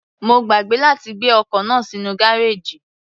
Má gbàgbé láti gbé ọkọ̀ náà sínú gárèjì.